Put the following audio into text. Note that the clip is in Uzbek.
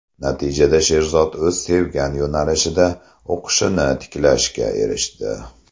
Natijada Sherzod o‘z sevgan yo‘nalishida o‘qishini tiklashga erishdi.